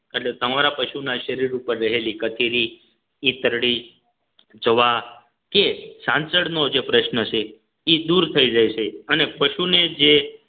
એટલે તમારા પશુના શરીર ઉપર રહેલી કથેરી ઈતરડી જવા કે ચાંચડ નો જે પ્રશ્ન છે એ દૂર થઈ જાય છે અને પશુને જે